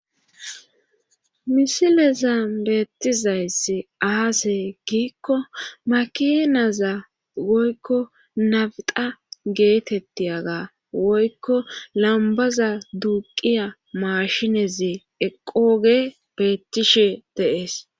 Misileza beettizayss aasey giikko makinaza woykko nabiqa geetetti aga woykko lambaza duuqiya mashinezi eqooge beettishe deees